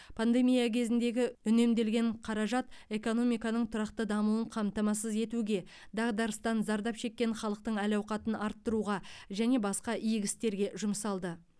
пандемия кезіндегі үнемделген қаражат экономиканың тұрақты дамуын қамтамасыз етуге дағдарыстан зардап шеккен халықтың әл ауқатын арттыруға және басқа игі істерге жұмсалды